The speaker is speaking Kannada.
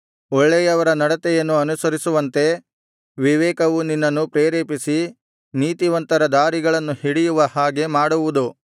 ಒಳ್ಳೆಯವರ ನಡತೆಯನ್ನು ಅನುಸರಿಸುವಂತೆ ವಿವೇಕವು ನಿನ್ನನ್ನು ಪ್ರೇರೇಪಿಸಿ ನೀತಿವಂತರ ದಾರಿಗಳನ್ನು ಹಿಡಿಯುವ ಹಾಗೆ ಮಾಡುವುದು